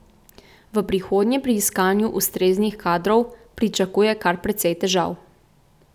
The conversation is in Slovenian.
V prihodnje pri iskanju ustreznih kadrov pričakuje kar precej težav.